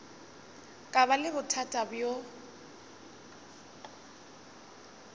ka ba le bothata bjo